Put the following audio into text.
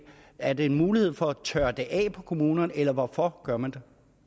er det en mulighed for at tørre det af på kommunerne eller hvorfor gør man